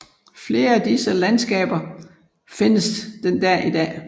Flere af disse landskaper findes den dag i dag